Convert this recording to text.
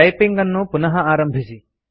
typing ಅನ್ನು ಪುನಃ ಆರಂಭಿಸಿ